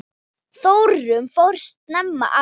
Þórunn fór snemma að vinna.